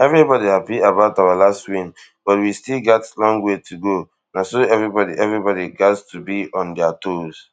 everybody happy about our last win but we still gat long way to go na so everybody everybody gat to be on dia toes